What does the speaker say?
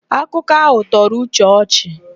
Akụkọ áhụ̀ tọrọ Uche ọchị.